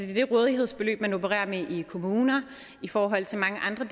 det rådighedsbeløb man opererer med i kommunerne i forhold til mange andre